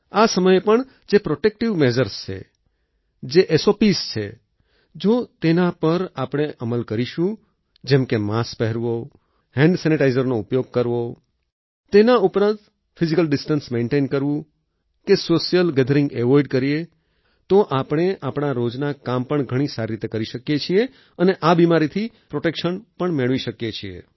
આ સમયે પણ જે પ્રોટેક્ટિવ મેઝર્સ છે જે સોપ્સ છે જો તેના પણ આપણે અમલ કરીશું જેમ કે માસ્ક પહેરવું હેન્ડ સેનિટાઈઝરનો ઉપયોગ કરવો તેના ઉપરાંત ફિઝીકલ ડિસ્ટન્સ મેઈન્ટેઈન કરવું કે સોશિયલ ગેથરિંગ એવોઇડ કરીએ તો આપણે આપણા રોજના કામ પણ ઘણી સારી રીતે કરી શકીએ છીએ અને આ બિમારીથી પ્રોટેક્શન પણ મેળવી શકીએ છીએ